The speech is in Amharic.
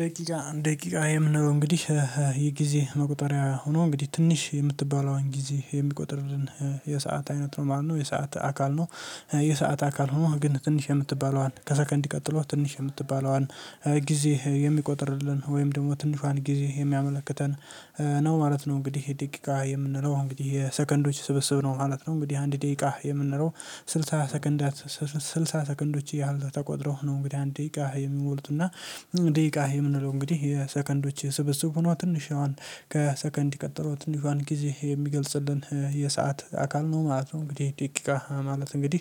ደቂቃ የምንለው እንግዲህ የጊዜ መቆጠሪያ ሆኖ እንግዲህ ትንሽ የምትባለዋን ጊዜ የሚቆጥርን የሰዓት አይነት ነው ማለት ነው የሰዓት አካል ነው የሰዓት አካል ሆኖ ግን ትንሽ የምትባለዋን ከሰከንድ ቀጥሎ ትንሽ የምትባለዋን ጊዜ የሚቆጥርልን ወይም ደግሞ ትንሿን ጊዜ የሚያመለክተን ነው ማለት ነው። እንግዲህ ደቂቃ የምንለው እንግዲህ የሰከንዶች ስብስብ ነው ማለት ነው። እንግዲህ አንድ ደቂቃ የምንለው ስልሳ ሰከንዶች ያህል ተቆጥረው ነው እንግዲህ አንድ ደቂቃ የሚሞሉት እና ደቂቃ የምንለው እንግዲህ የሰከንዶች ስብስብ ሁኖ ትንሿን ከሰከንድ የቀጠሎ ትንሿን ጊዜ የሚገልጽልን የሰዓት አካል ነው ማለት ነው። እንግዲህ ደቂቃ ማለት እንግዲህ